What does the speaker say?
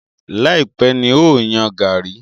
Láìpẹ̀ ni n ó yan gàrí?